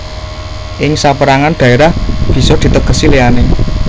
Ing saperangan dhaerah bisa ditegesi liyane